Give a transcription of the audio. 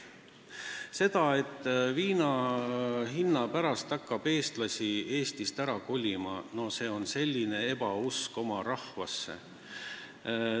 Väide, et viina hinna pärast hakkab eestlasi Eestist ära kolima, viitab sellele, et ei usuta oma rahvasse.